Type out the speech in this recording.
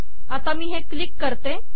आता मी हे क्लिक करते